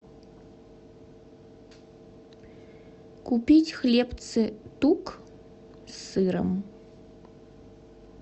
купить хлебцы тук с сыром